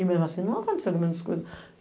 E mesmo assim, não aconteceu menos coisa.